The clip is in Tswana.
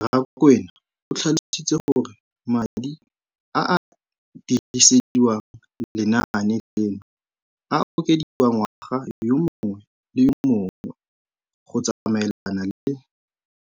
Rakwena o tlhalositse gore madi a a dirisediwang lenaane leno a okediwa ngwaga yo mongwe le yo mongwe go tsamaelana le